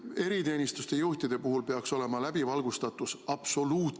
Eriteenistuste juhtide puhul peaks läbivalgustatus olema absoluutne!